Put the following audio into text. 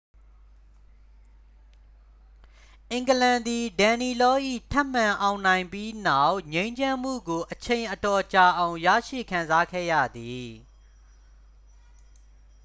အင်္ဂလန်သည် danelaw ၏ ထပ်မံအောင်နိုင်ပြီးနောက် ငြိမ်းချမ်းမှုကို အချိန်အတော်ကြာအောင် ရရှိခံစားခဲ့ရသည်